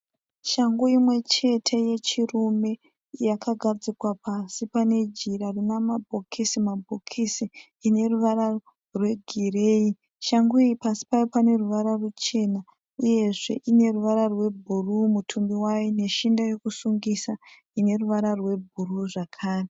Shangu imwechete yechirume. Yakagadzikwa pasi panejira rinamabhokisi mabhokisi. Ineruvara rwegireyi. Shangu iyi pasi payo paneruvara ruchena uyezve ineruvara rwebhuruwu mutumbi wayo, neshinda yekusungisa ineruvara rwebhuruwu zvakare.